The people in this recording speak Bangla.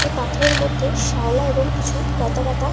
এই পাথরের মধ্যে শ্যাওলা এবং কিছু লতা পাতা --